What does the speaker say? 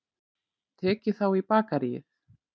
Tekið þá í bakaríið.